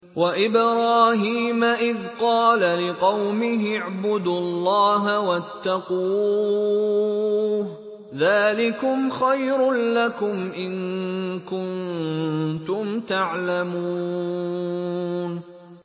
وَإِبْرَاهِيمَ إِذْ قَالَ لِقَوْمِهِ اعْبُدُوا اللَّهَ وَاتَّقُوهُ ۖ ذَٰلِكُمْ خَيْرٌ لَّكُمْ إِن كُنتُمْ تَعْلَمُونَ